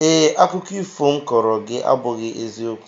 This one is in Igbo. Ee, akụkọ ifo m kọọrọ gị abụghị eziokwu